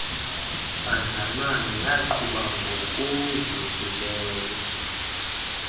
bazalwane yaqhuba ngokuzukileyo